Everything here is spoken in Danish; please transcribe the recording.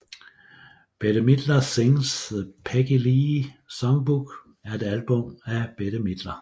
Bette Midler Sings the Peggy Lee Songbook er et album af Bette Midler